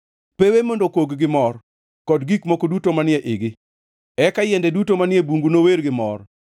pewe mondo okog gi mor, kod gik moko duto manie igi. Eka yiende duto manie bungu nower gi mor;